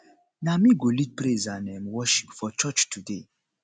na me go lead praise and um worship for church today